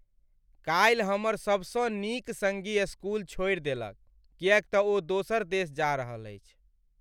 काल्हि हमर सबसँ नीक संगी स्कूल छोड़ि देलक किएक तँ ओ दोसर देश जा रहल अछि ।